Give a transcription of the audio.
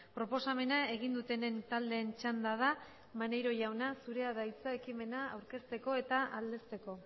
proposamena egin dutenen taldeen txanda da maneiro jauna zurea da hitza ekimena aurkezteko eta aldezteko